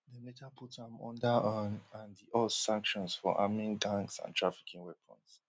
dem later put am under un and us sanctions for arming gangs and trafficking weapons